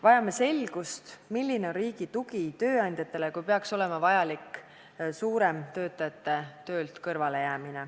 Vajame selgust, milline on riigi tugi tööandjatele, kui töötajad peaksid laialdasemalt töölt kõrvale jääma.